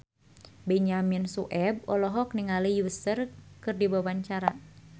Benyamin Sueb olohok ningali Usher keur diwawancara